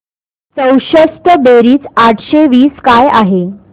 चौसष्ट बेरीज आठशे वीस काय आहे